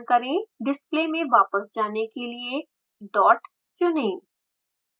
display में वापस जाने के लिए dot चुनें